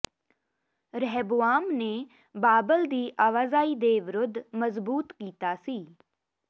ਰਹਬੁਆਮ ਨੇ ਬਾਬਲ ਦੀ ਆਵਾਜਾਈ ਦੇ ਵਿਰੁੱਧ ਮਜਬੂਤ ਕੀਤਾ ਸੀ